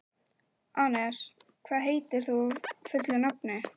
Anes, hvað heitir þú fullu nafni?